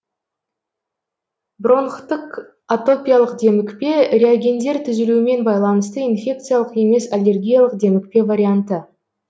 бронхтық атопиялық демікпе реагендер түзілуімен байланысты инфекциялық емес аллергиялық демікпе варианты